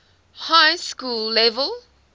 high school level